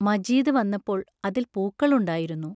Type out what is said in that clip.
മജീദ് വന്നപ്പോൾ, അതിൽ പൂക്കളുണ്ടായിരുന്നു.